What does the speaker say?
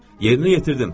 Yerini yetirdim.